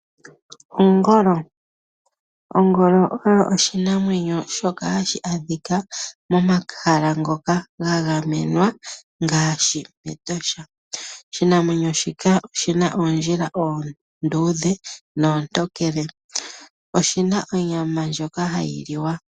Ongolo. Ongolo oyo oshinamwenyo shoka hashi adhika momahala ngoka ga gamenwa ngaashi metosha. Oshimaliwa shika oshina oondjila oonduudhe noontokele .Oshina onyama ndjoka hayiliwa.